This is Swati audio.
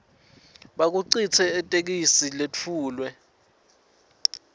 bukhicite itheksthi letfulwe